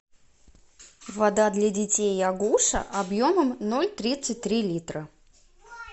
вода для детей агуша объемом ноль тридцать три литра